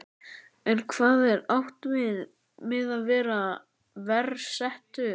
En hvað er átt við með að vera verr settur?